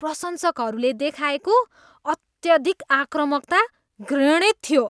प्रशंसकहरूले देखाएको अत्यधिक आक्रामकता घृणित थियो।